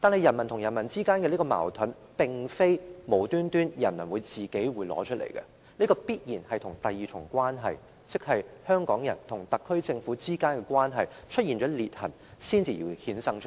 人民與人民之間的矛盾，並非由人民無故生起的，這必然是第二重關係，即香港人與特區政府之間的關係出現裂痕，才會衍生出來。